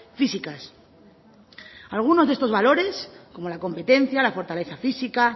físicas algunos de estos valores como la competencia la fortaleza física